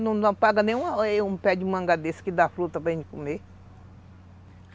Não paga nenhum pé de manga desse que dá fruta para gente comer.